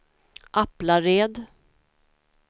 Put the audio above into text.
Aplared